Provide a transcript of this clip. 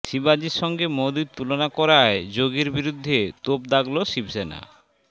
শিবাজির সঙ্গে মোদীর তুলনা করায় যোগীর বিরুদ্ধের তোপ দাগল শিবসেনা